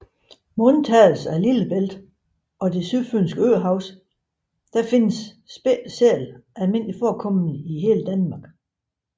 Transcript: Med undtagelse af Lillebælt og Det Sydfynske Øhav findes spættet sæl almindeligt forekommende i hele Danmark